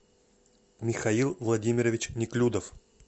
михаил владимирович неклюдов